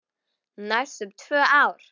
Næstum tvö ár!